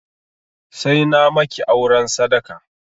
Sai na maki auren sadaka!